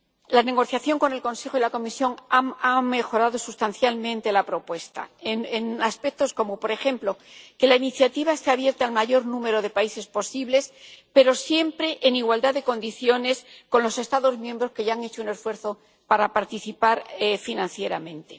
La negociación con el Consejo y la Comisión ha mejorado sustancialmente la propuesta en aspectos como, por ejemplo, que la iniciativa esté abierta al mayor número de países posible, pero siempre en igualdad de condiciones con los Estados miembros que ya han hecho un esfuerzo para participar financieramente.